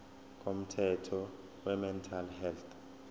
komthetho wemental health